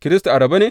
Kiristi a rabe ne?